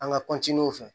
An ka